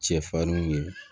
Cɛfarinw ye